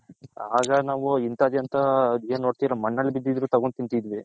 ಆಗ ನಾವು ಇಂತದೆ ಅಂತ ಮಣ್ಣಲಿ ಬಿದಿದ್ರು ತಗೊಂಡ್ ತಿನ್ತಿದ್ವಿ